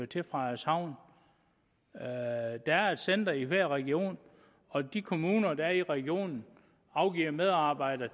til frederikshavn der er et center i hver region og de kommuner der er i regionen afgiver medarbejdere